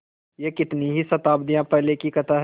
यह कितनी ही शताब्दियों पहले की कथा है